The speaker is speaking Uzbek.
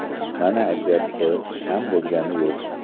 Mana aytayapti, kam bo‘lgani yo‘q.